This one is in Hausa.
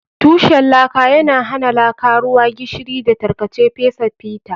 Tushen laka yana hana laka, ruwa, gishiri, da tarkace fesa fita.